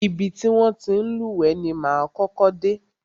Ibi ti wọn ti ń lúwẹ̀ẹ́ ni máa kọ́kọ́ dé.